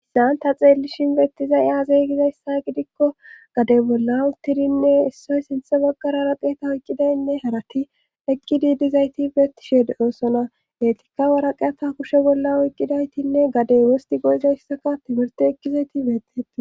issan ta xeellishinbeettizay aaze gizayssa gidikko gade bollan tidinne issoy sinthe baggara raqeeta oyqqidaynne harati ekki diidizayti beettished oosona etikka waraqeeta kushe bolla oyqqidaytinne gadey wosti go7izayssaka timirti ekkizayti beetteti